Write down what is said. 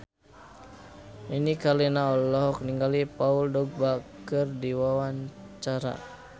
Nini Carlina olohok ningali Paul Dogba keur diwawancara